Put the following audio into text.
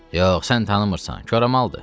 Yox, sən tanımırsan, koramaldır.